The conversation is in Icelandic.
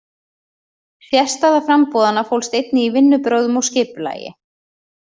Sérstaða framboðanna fólst einnig í vinnubrögðum og skipulagi.